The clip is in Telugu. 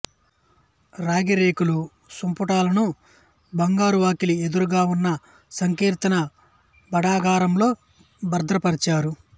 రాగిరేకుల సంపుటాలను బంగారువాకిలి ఎదురుగా ఉన్న సంకీర్తన భాండాగారంలో భద్రపరిచారు